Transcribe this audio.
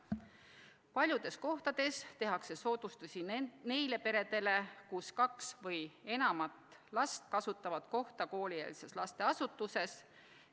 Paljudes kohtades tehakse soodustusi neile peredele, kus kaks või enam last kasutavad kohta koolieelses lasteasutuses.